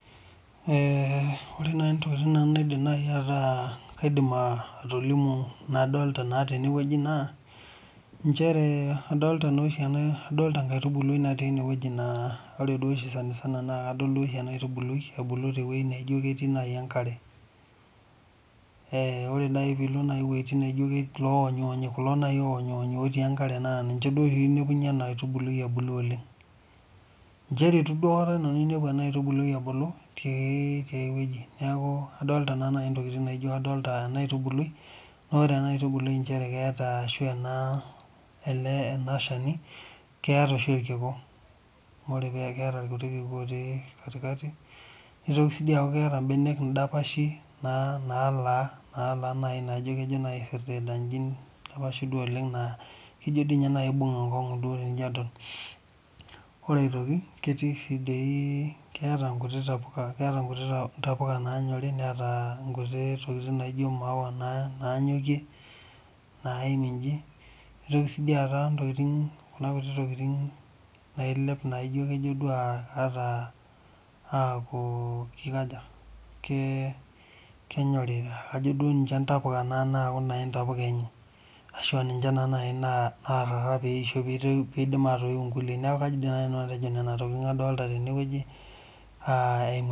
Ore naaji entokitin naidim atolimu nadolita tene adolita nkaitubulu natii enewueji sanisana na kadol duo oshi ena aitubului ebulu tewueji naijio ketii enkare ore naaji pilo ewuejitin naijio eloo wonyionyi kulo naaji otii enkare naa ninche enepunye ena aitubului ebulu oleng njere eitu aikata nanu ainepu ena aitubului ebulu tiae wueji neeku adolita ntokitin adolita ena aitubului naa ore enkaitubului keeta ena Shani naa keeta oshi irkiku naa ore peeta irkiku keeta irkuti kiku otii katikati nitoki aaku keeta mbenek dalashi nalaa nakejo naaji aisirdida eji oleng naa kejo naaji eibung enkop tenijo adol ore aitoki keeta nkuti tapukai nanyorie Neeta nkuti tokitin naijio maua Nanyokie naimir eji nitoki ataa ntokitin nailep nakejo duo aaku kenyori kejo duo ninche naaji ntapuka enye ashu ninche narara pee eisho pidim atayiu enkulie neeku kaidim naaji nanu atejo Nena tokitin adolita tene wueji